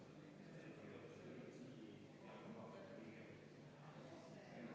Et siis muudatusettepanekut hääletame.